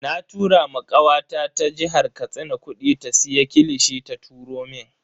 Na tura ma kawata ta jihar Katsina kudi ta siya kilishi ta turo mun.